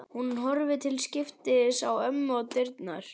Hún horfir til skiptis á ömmu og dyrnar.